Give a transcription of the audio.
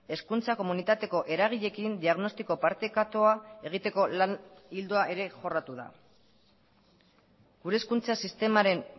hezkuntza komunitateko eragileekin diagnostiko partekatua egiteko lan ildoa ere jorratu da gure hezkuntza sistemaren